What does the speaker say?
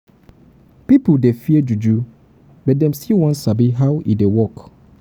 pipo dey fear juju but dem still wan sabi how e dey work.